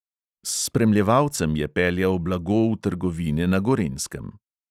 S spremljevalcem je peljal blago v trgovine na gorenjskem.